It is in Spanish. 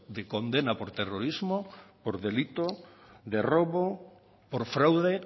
de condena por terrorismo por delito de robo por fraude